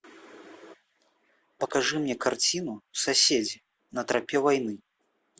покажи мне картину соседи на тропе войны